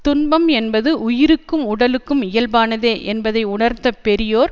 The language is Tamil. துன்பம் என்பது உயிருக்கும் உடலுக்கும் இயல்பானதே என்பதை உணர்ந்த பெரியோர்